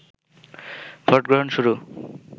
ভোটগ্রহণ শুরু